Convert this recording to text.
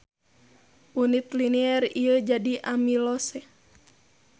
Unit linier ieu jadi amilose.